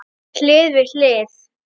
Hlið við hlið.